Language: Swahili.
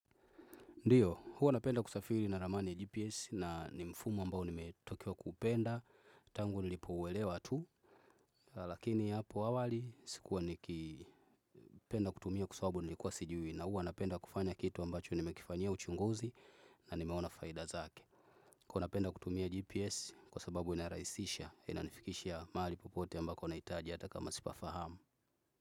Ndio, huwa napenda kusafiri na ramani ya GPS na nimfumo ambao nimetokea kuupenda tangu nilipouelewa tu. Lakini hapo awali sikuwa nikipenda kutumia kwa sababu nilikuwa sijui na huwa napenda kufanya kitu ambacho nimekifanyia uchunguzi na nimeona faida zake. Kwa napenda kutumia GPS kwa sababu inarahisisha ina nifikisha mahali popote ambako nahitaji hata kama sipafahamu.